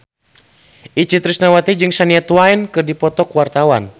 Itje Tresnawati jeung Shania Twain keur dipoto ku wartawan